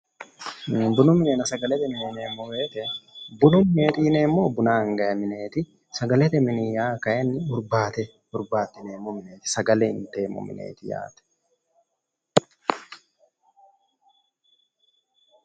Bunu minenna sagalete mine yineemmo woyiite bunu mineeti yineemmohu buna angayi mineeti, sagalete mini yaa kaayiinni hurbaate hurbaaxxineemmo mineeti, sagale inteemmo mineeti yaate.